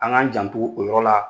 An k'an janto o yɔrɔ la